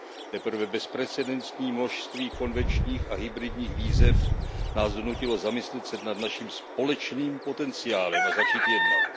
Teprve bezprecedentní množství konvenčních a hybridních výzev nás donutilo zamyslet se nad naším společným potenciálem a začít jednat.